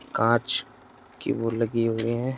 काँच की वो लगी हुई हैं।